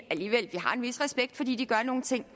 vis respekt fordi den gør nogle ting